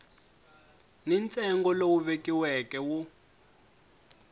ni ntsengo lowu vekiweke wo